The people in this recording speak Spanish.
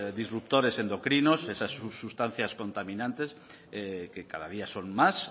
disruptores endocrinos esas sustancias contaminantes que cada día son más